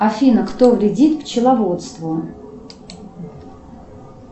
афина кто вредит пчеловодству